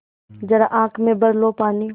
ज़रा आँख में भर लो पानी